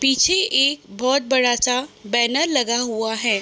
पीछे एक बोहत बड़ा सा बैनर लगा हुआ है |